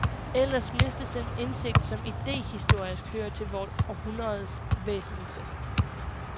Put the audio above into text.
Ellers mistes den indsigt som idéhistorisk hører til vort århundredes væsentligste.